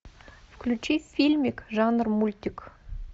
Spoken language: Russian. включи фильмик жанр мультик